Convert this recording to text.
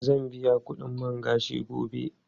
Zan biya kudin man gashin gobe.